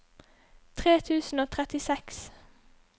tre tusen og trettiseks